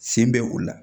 Sen bɛ o la